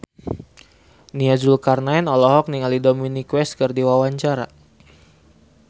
Nia Zulkarnaen olohok ningali Dominic West keur diwawancara